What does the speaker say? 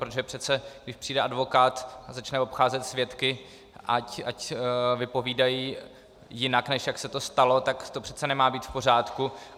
Protože přece když přijde advokát a začne obcházet svědky, ať vypovídají jinak, než jak se to stalo, tak to přece nemá být v pořádku.